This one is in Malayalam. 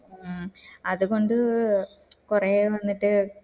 മ് അത് കൊണ്ട് കോരി വന്നിട്ട്